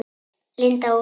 Linda Ósk.